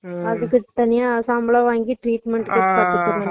ஆமா சேரிசேரி இப்போ பரவால்ல